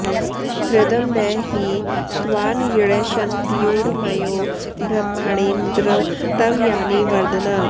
ह्र॒दं न हि त्वा॑ न्यृ॒षन्त्यू॒र्मयो॒ ब्रह्मा॑णीन्द्र॒ तव॒ यानि॒ वर्ध॑ना